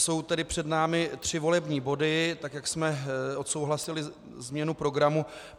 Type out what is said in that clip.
Jsou tedy před námi tři volební body, tak jak jsme odsouhlasili změnu programu.